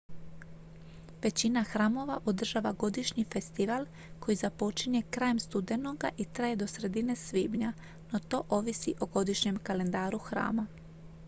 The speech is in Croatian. većina hramova održava godišnji festival koji započinje krajem studenoga i traje do sredine svibnja no to ovisi o godišnjem kalendaru hrama